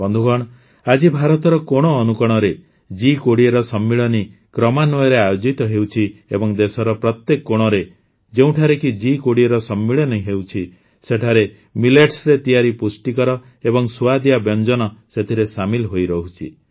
ବନ୍ଧୁଗଣ ଆଜି ଭାରତର କୋଣଅନୁକୋଣରେ ଜି୨୦ର ସମ୍ମିଳନୀ କ୍ରମାନ୍ୱୟରେ ଆୟୋଜିତ ହେଉଛି ଏବଂ ଦେଶର ପ୍ରତ୍ୟେକ କୋଣରେ ଯେଉଁଠାରେ ଜି୨୦ ର ସମ୍ମିଳନୀ ହେଉଛି ସେଠାରେ ମିଲେଟ୍ସରେ ତିଆରି ପୁଷ୍ଟିକର ଏବଂ ସୁଆଦିଆ ବ୍ୟଞ୍ଜନ ସେଥିରେ ସାମିଲ ହୋଇରହୁଛି